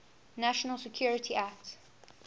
national security act